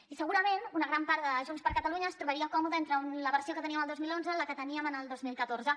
i segurament una gran part de junts per catalunya es trobaria còmode entre la versió que teníem el dos mil onze i la que teníem el dos mil catorze